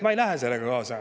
Ma ei lähe sellega kaasa.